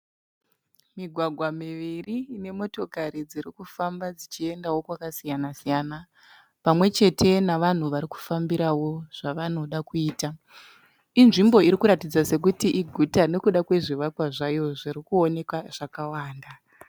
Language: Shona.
Migwagwa miviri ine motokari dziri kufamba dzichiendawo kwakasiyana siyana pamwe chete navanhu vari kufambirawo zvavanoda kuita. Inzvimbo iri kuratidza sekuti iguta nekuda kwezvivakwa zvayo zvirikuonekwa zvakawanda.